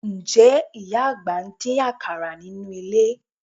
Ǹjẹ́ ìyá àgbà ń dín àkàrà nínú ilé?